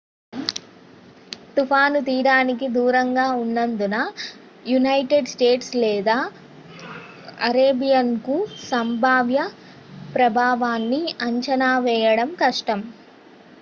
తుఫాను తీరానికి దూరంగా ఉన్నందున యునైటెడ్ స్టేట్స్ లేదా కరేబియన్కు సంభావ్య ప్రభావాన్ని అంచనా వేయడం కష్టం